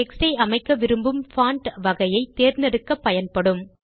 text ஐ அமைக்க விரும்பும் பான்ட் வகையை தேர்ந்தெடுக்க பயன்படும்